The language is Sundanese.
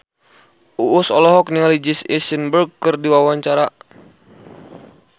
Uus olohok ningali Jesse Eisenberg keur diwawancara